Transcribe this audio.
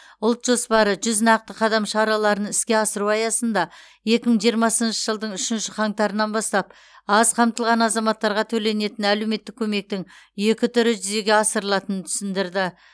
ұлт жоспары жүз нақты қадам шараларын іске асыру аясында екі мың жиырмасыншы жылдың үшінші қаңтарынан бастап аз қамтылған азаматтарға төленетін әлеуметтік көмектің екі түрі жүзеге асырылатынын түсіндірді